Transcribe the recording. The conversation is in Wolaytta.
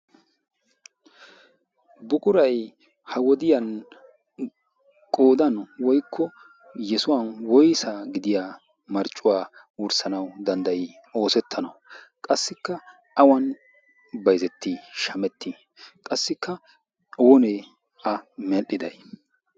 buqurai ha wodiyan qodan woikko yesuwan woisa gidiya marccuwaa worssanau danddayi oosettanau qassikka awan baizetti shametti qassikka oonee a medhdhidai